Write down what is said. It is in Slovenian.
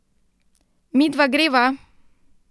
Midva greva!